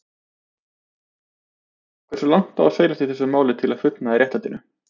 Hversu langt á seilast í þessu máli til að fullnægja réttlætinu?